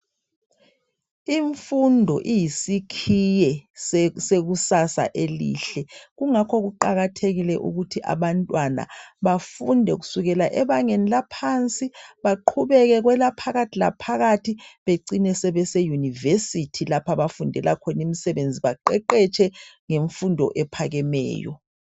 Imfundo iyisikhiye sekusasa elihle. Kungakho kuqakathekile ukuthi abantwana bafunde kusekela ebangeni laphansi baqhubeke kwelaphakathi laphakathi becine sebe seyunivesithi lapha abafundela imisebenzi etshiyeneyo baqeqetshe ngemfundo ephakemeyo.